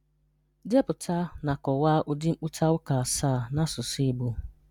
Depụta na kọwaa ụdị mkpụta ụka asaa n’asụsụ Igbo.